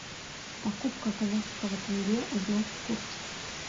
покупка казахского тенге узнать курс